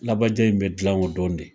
Labaja in be jilan o dɔn de.